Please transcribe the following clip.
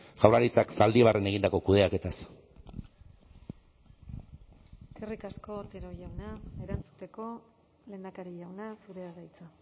jaurlaritzak zaldibarren egindako kudeaketaz eskerrik asko otero jauna erantzuteko lehendakari jauna zurea da hitza